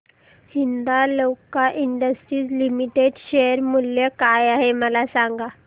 Hindalco Industries Limited share मूल्य काय आहे मला सांगा